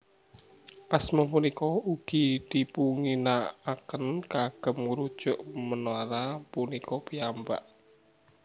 Asma punika ugi dipunginakaken kagem ngurujuk menara punika piyambak